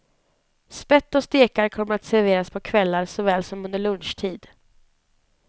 Spett och stekar kommer att serveras på kvällar såväl som under lunchtid.